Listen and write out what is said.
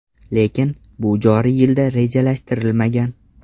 Lekin, bu joriy yilda rejalashtirilmagan.